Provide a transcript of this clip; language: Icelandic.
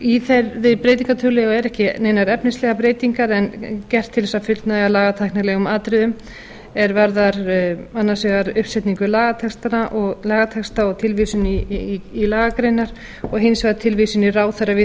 í þeirri breytingartillögu eru ekki neinar efnislegar breytingar en gert til að fullnægja lagatæknilegum atriðum að því er varðar uppsetningu lagatexta og tilvísun í lagagreinar og hins vegar tilvísun í ráðherra við